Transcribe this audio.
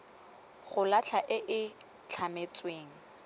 go latlha e e tlametsweng